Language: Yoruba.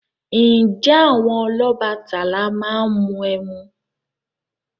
Ǹjẹ́ àwọn Ọlọ́bàtálá máa ń mu ẹmu?